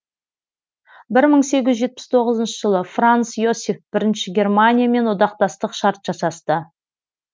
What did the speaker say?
бір мың сегіз жүз жетпіс тоғызыншы жылы франц иосиф бірінші германиямен одақтастық шарт жасасты